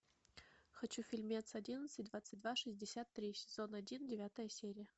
хочу фильмец одиннадцать двадцать два шестьдесят три сезон один девятая серия